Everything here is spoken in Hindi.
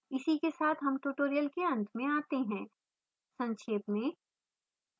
इसी के साथ हम tutorial के अंत में आते हैं संक्षेप में